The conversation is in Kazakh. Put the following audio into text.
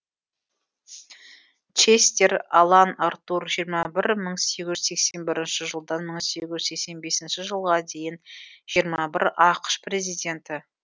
честер а лан а ртур жиырма бір мың сегіз жүз сексен бірінші жылдан мың сегіз жүз сексен бесінші жылға дейін жиырма бір ақш президенті